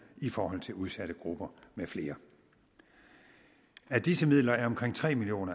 i forhold til udsatte grupper med flere af disse midler er omkring tre million